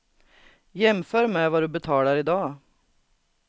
Jämför med vad du betalar i dag.